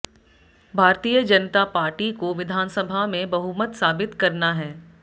भारतीय जनता पार्टी को विधानसभा में बहुमत साबित करना है